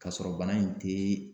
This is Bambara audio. Ka sɔrɔ bana in te